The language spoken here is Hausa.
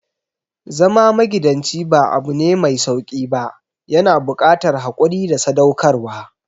Zama magidanci ba abune mai sauƙi ba, yana buƙatar haƙuri da sadaukarwa.